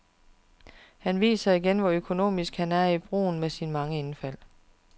Han viser igen, hvor økonomisk han er i brugen af sine mange indfald.